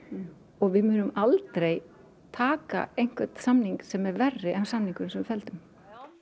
og við munum aldrei taka einhvern samning sem er verri en samningurinn sem við felldum